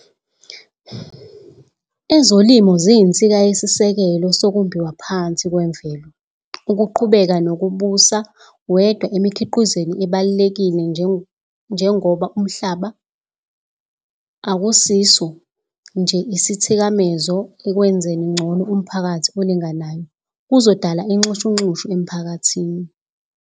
Ezolimo ziyinsika yesisekelo sokumbiwa phansi kwemvelo. Ukuqhubeka nokubusa wedwa emikhiqizweni ebalulekile njengomhlaba akusiso nje isithikamezo ekwenzeni ngcono umphakathi olinganayo, kuzodala inxushunxushu emphakathini.